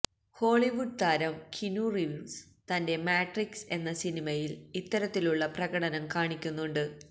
Hollywood താരം Keanu Reeves തന്റെ Matrix എന്ന സിനിമയില് ഇത്തരത്തിലുള്ള പ്രകടനം കാണിക്കുന്നുണ്ട്